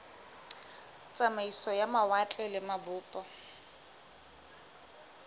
tsamaiso ya mawatle le mabopo